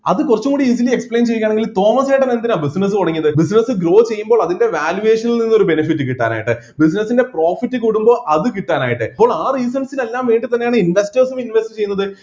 അതുകുറച്ചുകൂടി easily explain ചെയ്യുകയാണെങ്കിൽ തോമസേട്ടൻ എന്തിനാ business തുടങ്ങിയത് business grow ചെയ്യുമ്പോൾ അതിൻ്റെ valuation നിൽ നിന്ന് ഒരു benefit കിട്ടാനായിട്ട് business ൻ്റെ profit കൂടുമ്പോ അത് കിട്ടാനായിട്ട് അപ്പോൾ ആ reasons ന് എല്ലാം വേണ്ടിതന്നെയാണ് investors ഉം invest ചെയ്യുന്നത്